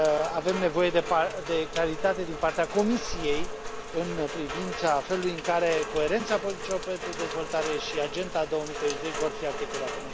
Avem nevoie de claritate din partea Comisiei în privința felului în care coerența politicilor pentru dezvoltare și Agenda 2030 vor fi articulate.